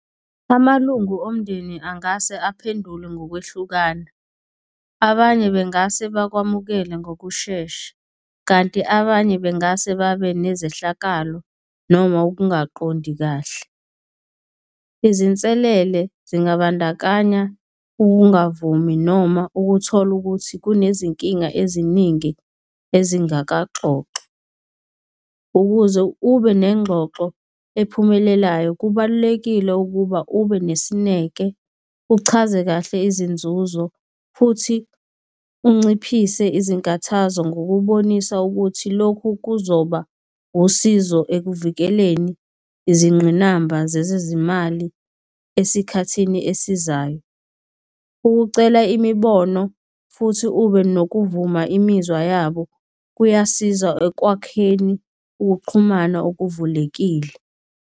Amalungu omndeni angase aphendule ngokwehlukana. Abanye bengase bakwamukele ngokushesha kanti abanye bengase babe nezehlakalo noma ukungaqondi kahle. Izinselele zingabandakanya ungavumi noma ukuthola ukuthi kunezinkinga eziningi ezingakaxoxwa. Ukuze ube nengxoxo ephumelelayo kubalulekile ukuba ube nesineke, uchaze kahle izinzuzo futhi unciphise izinkathazo ngokubonisa ukuthi, lokhu kuzoba usizo ekuvikeleni izingqinamba zezezimali esikhathini esizayo. Ukucela imibono futhi ube nokuvuma imizwa yabo kuyasiza ekwakheni ukuxhumana okuvulelekile.